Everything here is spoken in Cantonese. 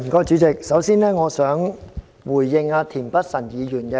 主席，我首先想回應田北辰議員。